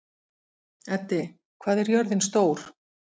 Eddi, hvað er jörðin stór?